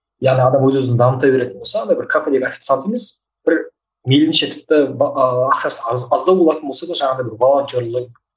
яғни адам өз өзін дамыта беретін болса андай бір емес бір мейлінше тіпті ақшасы аз аздау болатын болса да жаңағыдай бір волонтерлік